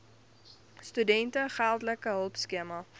studente geldelike hulpskema